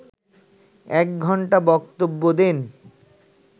এক ঘণ্টা বক্তব্য দেন